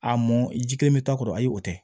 A mɔn ji kelen bɛ taa kɔrɔ ayi o tɛ